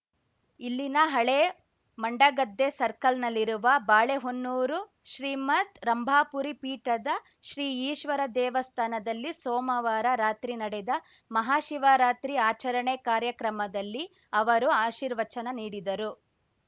ಇಲ್ಲಿನ ಹಳೇ ಮಂಡಗದ್ದೆ ಸರ್ಕಲ್‌ನಲ್ಲಿರುವ ಬಾಳೆಹೊನ್ನೂರು ಶ್ರೀಮದ್‌ ರಂಭಾಪುರಿ ಪೀಠದ ಶ್ರೀ ಈಶ್ವರ ದೇವಸ್ಥಾನದಲ್ಲಿ ಸೋಮವಾರ ರಾತ್ರಿ ನಡೆದ ಮಹಾಶಿವರಾತ್ರಿ ಆಚರಣೆ ಕಾರ್ಯಕ್ರಮದಲ್ಲಿ ಅವರು ಆಶೀರ್ವಚನ ನೀಡಿದರು